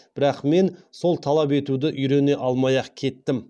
бірақ мен сол талап етуді үйрене алмай ақ кеттім